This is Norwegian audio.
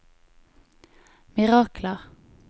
mirakler